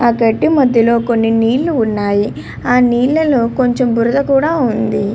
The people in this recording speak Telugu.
ఆ గడ్డి మధ్యలో కొన్ని నీళ్లు ఉన్నాయి ఆ నీళ్ల మధ్యలో కొంచం బురద కూడా ఉన్నది.